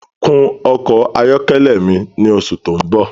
Kun ọkọ ayọkẹlẹ mi ni oṣù tó ń bọ̀